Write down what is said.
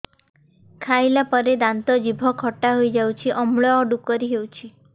ଖାଇଲା ପରେ ଦାନ୍ତ ଜିଭ ଖଟା ହେଇଯାଉଛି ଅମ୍ଳ ଡ଼ୁକରି ହଉଛି